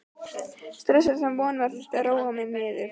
stressaður, sem von var, þurfti að róa mig niður.